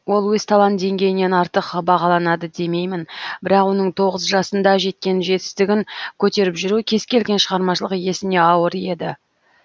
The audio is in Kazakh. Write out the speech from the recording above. ол өз талант деңгейінен артық бағаланады демеймін бірақ оның тоғыз жасында жеткен жетістігін көтеріп жүру кез келген шығармашылық иесіне ауыр еді